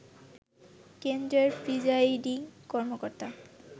কেন্দ্রের প্রিজাইডিং কর্মকর্তা